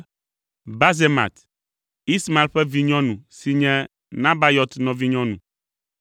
Basemat, Ismael ƒe vinyɔnu si nye Nebayɔt nɔvinyɔnu.